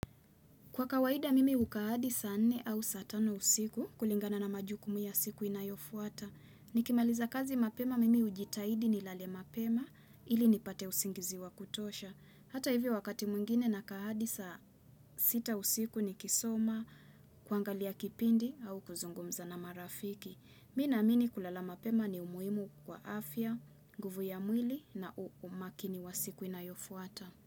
Kwa kawaida mimi huka hadi saa nne au saa tano usiku kulingana na majukumu ya siku inayofuata. Nikimaliza kazi mapema mimi hujitahidi nilale mapema ili nipate usingizi wa kutosha. Hata hivyo wakati mwingine nakaa hadi saa sita usiku nikisoma kuangalia kipindi au kuzungumza na marafiki. Mimi naamini kulala mapema ni muhimu kwa afya, nguvu ya mwili na umakini wa siku inayofuata.